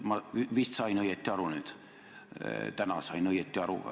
Ma vist sain nüüd õigesti aru, täna sain õigesti aru.